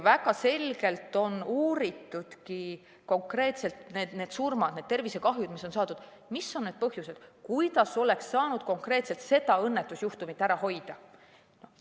Väga selgelt on konkreetsete surmade ja tervisekahjude puhul uuritud, mis olid need põhjused ja kuidas oleks saanud konkreetselt seda õnnetusjuhtumit ära hoida.